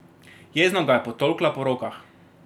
Jezno ga je potolkla po rokah.